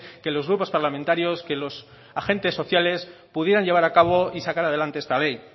que los grupos parlamentarios que los agentes sociales pudieran llevar a cabo y sacar adelante esta ley